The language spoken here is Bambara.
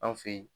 An fe yen